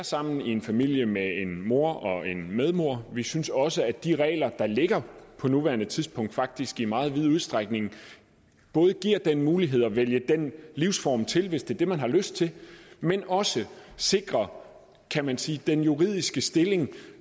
sammen i en familie med en mor og en medmor vi synes også at de regler der ligger på nuværende tidspunkt faktisk i meget vid udstrækning både giver den mulighed at vælge den livsform til hvis det er det man har lyst til men også sikrer kan man sige den juridiske stilling